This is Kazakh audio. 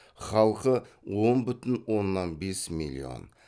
халқы он бүтін оннан бес миллион